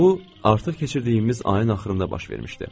Bu artıq keçirdiyimiz ayın axırında baş vermişdi.